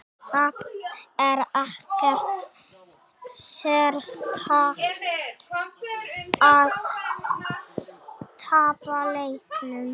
Það er ekkert sérstakt að tapa leikjum.